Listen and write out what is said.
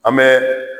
An bɛ